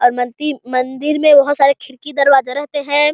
और मंदी मंदिर मे बहोत सारे खिड़की दरवाजे रहते है।